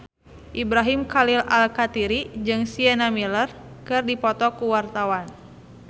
Ibrahim Khalil Alkatiri jeung Sienna Miller keur dipoto ku wartawan